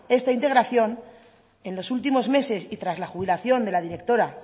esta integración en los últimos meses y tras la jubilación de la directora